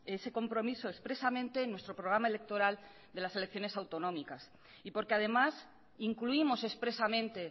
ese compromiso expresamente en nuestro programa electoral de las elecciones autonómicas y porque además incluimos expresamente